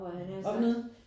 Hvad for noget?